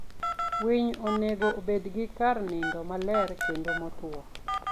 Winy onego obed gi kar ndindo maler kendo motwo.